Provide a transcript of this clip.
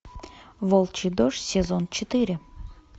волчий дождь сезон четыре